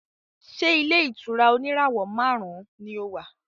Ṣé ilé-ìtura oníràwọ̀ márùn-ún ni o wà?